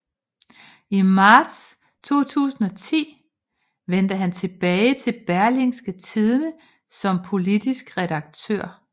I marts 2010 vendte han tilbage til Berlingske Tidende som politisk redaktør